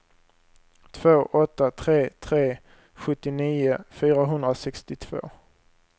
två åtta tre tre sjuttionio fyrahundrasextiotvå